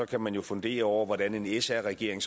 kan man jo fundere over hvordan en sr regering